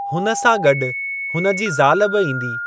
हुन सां गॾु हुन जी ज़ाल बि ईदी।